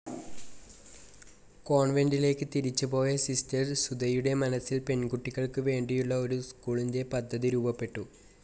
കോൺവെൻ്റിലേക്ക് തിരിച്ച് പോയ സിസ്റ്റർ സുധയുടെ മനസ്സിൽ പെൺകുട്ടികൾക്ക് വേണ്ടിയുളള ഒരു സ്ക്കൂളിൻ്റെ പദ്ധതി രൂപപ്പെട്ടു.